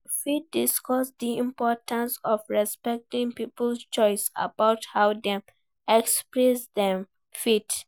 You fit discuss di importance of respecting people's choices about how dem express dem faith.